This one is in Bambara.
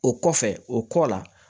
O kɔfɛ o kɔ la